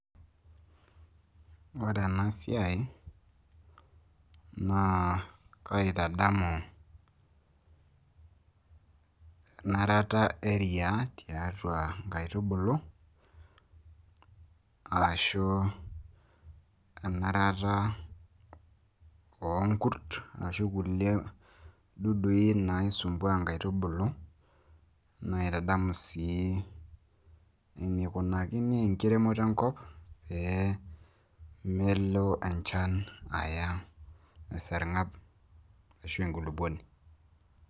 ore ena siai naa kaitadamu, enarata eeriaa tiatu inkaitubulu, ashu enarata oonkurt, ashu kulie dudui naisumbua inkaitubulu. naitadamu sii enkikunaki enkiremore enkop pee melo enchan aya esargab ashu enkulupuoni.